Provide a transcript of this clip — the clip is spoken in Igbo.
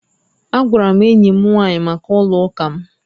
Agwara m enyi m nwaanyị maka ụlọụka m